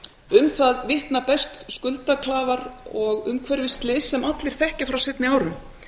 um það vitna best skuldaklafar og umhverfisslys sem allir þekkja frá seinni árum